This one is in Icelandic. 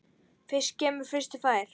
Fyrstur kemur, fyrstur fær.